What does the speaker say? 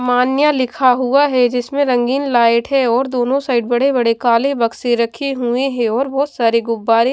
मान्या लिखा हुआ है जिसमें रंगीन लाइट है और दोनों साइड बड़े बड़े काले बक्से रखे हुए हैं और बहुत सारे गुब्बारे --